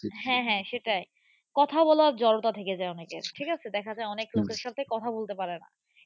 হ্যাঁ হ্যাঁ সেটাই। কথা বলার জড়তা থেকে যায় অনেকের। ঠিক আছে দেখা যায় অনেক লোকের সাথে কথা বলতে পারে না।